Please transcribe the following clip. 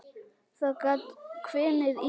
Þá gat hvinið í.